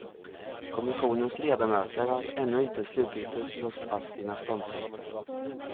Kommissionens ledamöter har ännu inte slutgiltigt låst fast sina ståndpunkter.